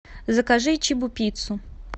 закажи чебупиццу